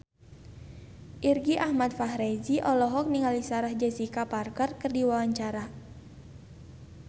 Irgi Ahmad Fahrezi olohok ningali Sarah Jessica Parker keur diwawancara